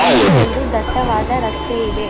ಇಲ್ಲಿ ಒಂದು ದಟ್ಟವಾದ ರಸ್ತೆ ಇದೆ.